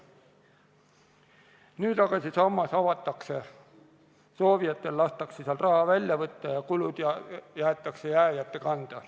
Nüüd aga see sammas avatakse, soovijatel lastakse sealt raha välja võtta ja kulud jäetakse jääjate kanda.